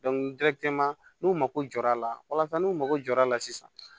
n'u mako jɔ ra n'u mago jɔra a la sisan